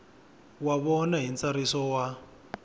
wa vona hi ntsariso wa